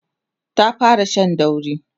ta fara Shan dauri